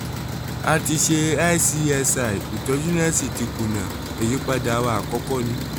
a ti ṣe icsi ìtọ́jú náà sì ti kùnà ìyípadà wa àkọ́kọ́ ni